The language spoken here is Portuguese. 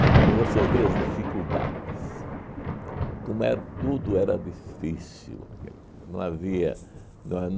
Mas para você ver as dificuldades, como é tudo era difícil naquele tempo. Não havia não